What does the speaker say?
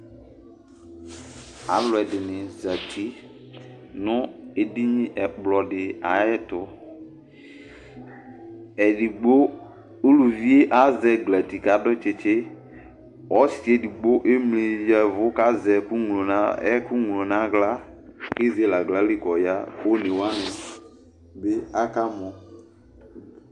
Alu ɛdɩnɩ zǝti nʋ edini nʋ ɛkplɔ di ayʋ ɛtʋ Edigbo, uluvi azɛ ɛglati kʋ adu tsitsi Ɔsi edigbo emli ya ɛvʋ, kʋ azɛ ɛkʋ ŋlo nʋ aɣla, kʋ ezele aɣlali kʋ ɔya, kʋ one wani bɩ akamɔ